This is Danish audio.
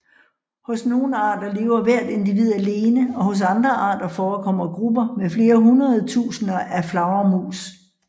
Hos nogle arter lever hvert individ alene og hos andre arter forekommer grupper med flere hundredtusinder af flagermus